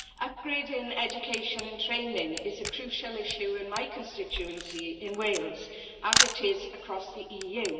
Upgrading education and training is a crucial issue in my constituency in Wales, as it is across the EU.